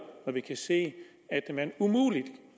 når vi kan se at man umuligt